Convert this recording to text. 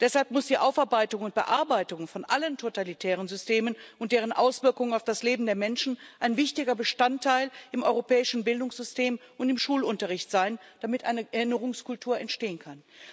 Deshalb muss die Aufarbeitung und Bearbeitung von allen totalitären Systemen und deren Auswirkungen auf das Leben der Menschen ein wichtiger Bestandteil im europäischen Bildungssystem und im Schulunterricht sein, damit eine Erinnerungskultur entstehen kann.